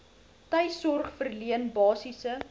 tuissorg verleen basiese